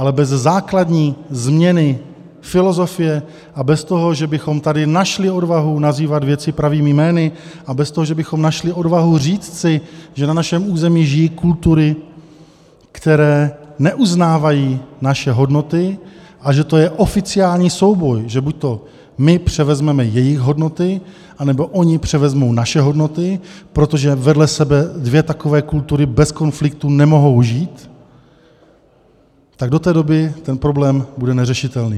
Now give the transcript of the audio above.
Ale bez základní změny filozofie a bez toho, že bychom tady našli odvahu nazývat věci pravými jmény a bez toho, že bychom našli odvahu říct si, že na našem území žijí kultury, které neuznávají naše hodnoty, a že to je oficiální souboj, že buď my převezmeme jejich hodnoty, nebo oni převezmou naše hodnoty, protože vedle sebe dvě takové kultury bez konfliktu nemohou žít, tak do té doby ten problém bude neřešitelný.